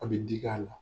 A bɛ digi a la